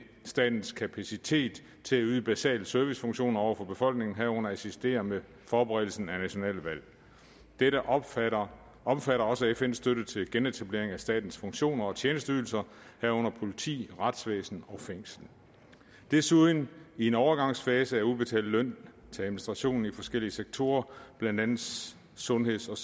statens kapacitet til at yde basale servicefunktioner over for befolkningen herunder at assistere med forberedelsen af nationale valg dette omfatter omfatter også fns støtte til genetablering af statens funktioner og tjenesteydelser herunder politi retsvæsen og fængsler og desuden i en overgangsfase at udbetale løn til administrationen i forskellige sektorer blandt andet sundheds og